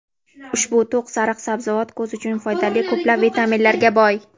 Ushbu to‘q sariq sabzavot ko‘z uchun foydali ko‘plab vitaminlarga boy.